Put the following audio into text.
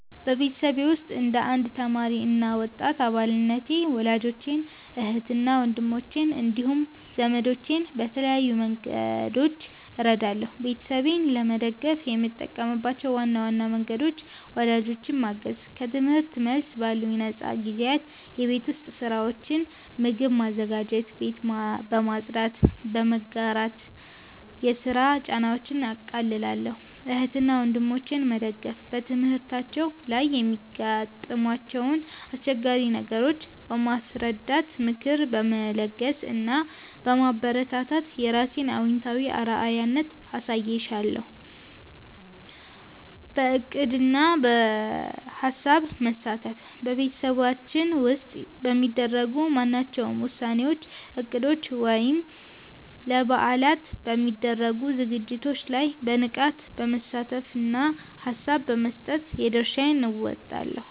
በቤተሰቤ ውስጥ እንደ አንድ ተማሪ እና ወጣት አባልነቴ ወላጆቼን፣ እህትና ወንድሞቼን እንዲሁም ዘመዶቼን በተለያዩ መንገዶች እረዳለሁ። ቤተሰቤን ለመደገፍ የምጠቀምባቸው ዋና ዋና መንገዶች፦ ወላጆቼን ማገዝ፦ ከትምህርት መልስ ባሉኝ ነፃ ጊዜያት የቤት ውስጥ ሥራዎችን (ምግብ በማዘጋጀትና ቤት በማጽዳት) በመጋራት የሥራ ጫናቸውን አቃልላለሁ። እህትና ወንድሞቼን መደገፍ፦ በትምህርታቸው ላይ የሚያጋጥሟቸውን አስቸጋሪ ነገሮች በማስረዳት፣ ምክር በመለገስ እና በማበረታታት የራሴን አዎንታዊ አርአያነት አሳይሻለሁ። በዕቅድና በሐሳብ መሳተፍ፦ በቤተሰባችን ውስጥ በሚደረጉ ማናቸውም ውሳኔዎች፣ እቅዶች ወይም ለበዓላት በሚደረጉ ዝግጅቶች ላይ በንቃት በመሳተፍና ሐሳብ በመስጠት የድርሻዬን እወጣለሁ።